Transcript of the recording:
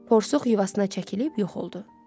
Porsuq yuvasına çəkilib yox oldu.